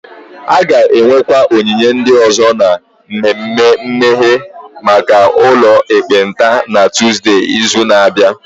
A ga-enwekwa onyinye ndị ọzọ na mmemme mmeghe maka ụlọ ekpenta na Tọzdee izu na-abịa